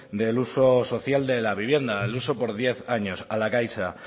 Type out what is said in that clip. del uso social de la vivienda el uso por diez años a la caixa